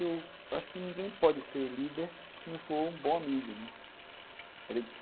Eu acho que ninguém pode ser líder se não for um bom amigo, né?